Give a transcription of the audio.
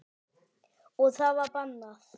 Og það var bannað.